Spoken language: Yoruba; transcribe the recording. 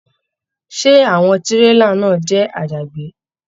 Ṣé àwọn tírélà náà jẹ àjàgbé?